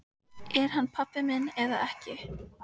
Er hann pabbi minn eða ekki?